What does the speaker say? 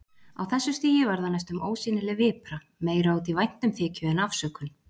Á þessu stigi var það næstum ósýnileg vipra, meira út í væntumþykju en afsökun.